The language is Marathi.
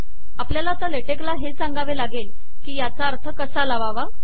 आपल्याला आता ले टेक ला हे सांगावे लागेल की याचा अर्थ कसा लावावा